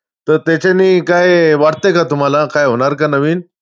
तर त्याच्यानी काय वाटतंय का तुम्हांला? काय होणार का नवीन?